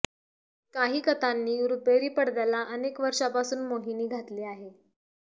काही कथांनी रुपेरी पडद्याला अनेक वर्षापासून मोहिनी घातली आहे